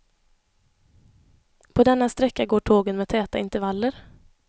På denna sträcka går tågen med täta intervaller.